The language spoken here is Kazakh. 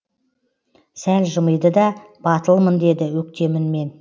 сәл жымиды да батылмын деді өктем үнмен